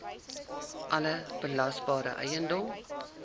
alle belasbare eiendom